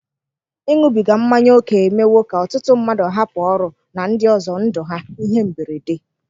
Ịṅụbiga mmanya ókè emewo ka ọtụtụ mmadụ hapụ ọrụ na ndị ọzọ ndụ ha (ihe mberede).